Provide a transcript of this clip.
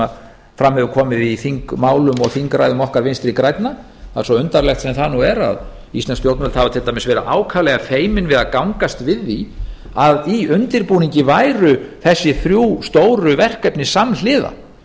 sem hefur komið fram í þingmálum og þingræðum okkar vinstri grænna svo undarlegt sem það er að íslensk stjórnvöld hafa til dæmis verið ákaflega feimin við að gangast við því að í undirbúningi væru þessi þrjú stóru verkefni samhliða